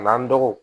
A n'an dɔgɔw